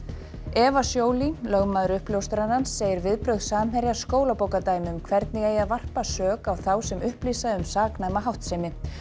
Eva lögmaður uppljóstrarans segir viðbrögð Samherja skólabókardæmi um hvernig eigi að varpa sök á þá sem upplýsa um saknæma háttsemi